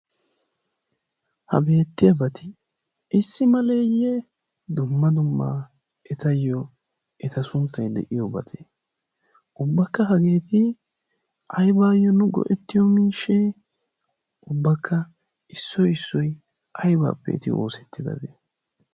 Ha beettiyabati issi maleeyye dumma dumma etayyo eta sunttay de'iyobatee? Ubbakka hageeti aybaayyo nu ge'ettiyo miishshee? Ubakka issoy issoy aybaappe eti oosettidabee?